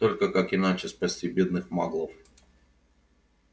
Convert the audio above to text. только как иначе спасти бедных маглов